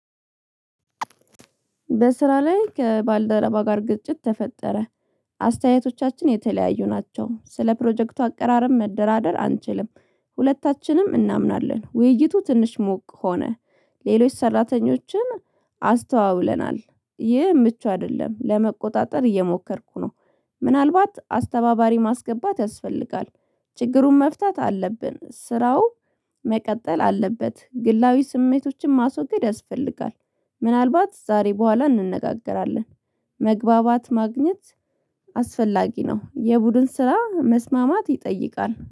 በስራ ላይ ከባልደረባ ጋር ግጭት ተፈጠረ አስተያየቶቻችን የተለያዩ ናቸው ስለ ፕሮጀክቱ አቀራረብ መደራደር አንችልም ሁለታችንም እናምናለን ውይይቱ ትንሽ ሞቅ ሆነ ሌሎች ሰራተኞችን አስተዋውለናል። ይህ ምቹ አይደለም። ለመቆጣጠር እየሞከርኩ ነው። ምናልባት አስተባባሪ ማስገባት ያስፈልጋል። ችግሩን መፍታት አለብን። ስራው መቀጠል አለበት ግላዊ ስሜቶችን ማስወገድ ያስፈልጋል። ምናልባት ዛሬ በኋላ እንነጋገራለን መግባባት ማግኘት አስፈላጊ ነው። የቡድን ስራ መስማማት ይጠይቃል።